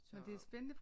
Så